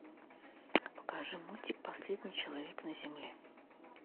покажи мультик последний человек на земле